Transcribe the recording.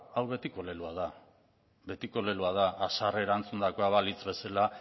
hau betiko leloa da betiko leloa da haserre erantzundakoa balitz bezala